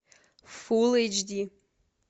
фул эйч ди